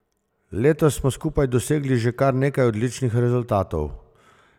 Letos smo skupaj dosegli že kar nekaj odličnih rezultatov.